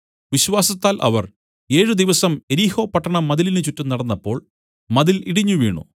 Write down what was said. വിശ്വാസത്താൽ അവർ ഏഴ് ദിവസം യെരിഹോപട്ടണ മതിലിനു ചുറ്റും നടന്നപ്പോൾ മതിൽ ഇടിഞ്ഞുവീണു